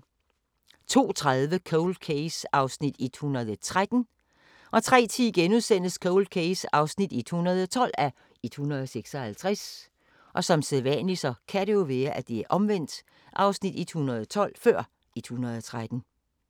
02:30: Cold Case (113:156) 03:10: Cold Case (112:156)*